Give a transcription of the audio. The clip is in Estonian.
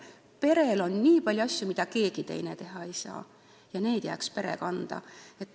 Perel on nii palju asju, mida keegi teine teha ei saa, ja need jääksid siis pere kanda.